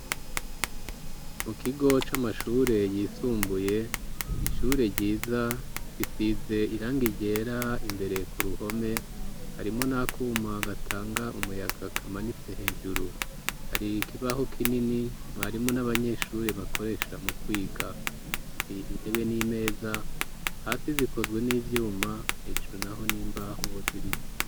Mu kigo c'amashure yisumbuye ishure ryiza isize irangi ryera imbere ku ruhome harimwo nakuma gatanga umuyaga kamanitse hejuru, hari kibaho kinini mwarimu n'abanyeshure bakoresha mu kwiga, har’ intebe n'imeza hasi zikozwe n'ivyuma hejuru naho n'imbaho z'ibiti.